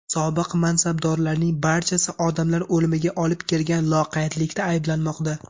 Sobiq mansabdorlarning barchasi odamlar o‘limiga olib kelgan loqaydlikda ayblanmoqda.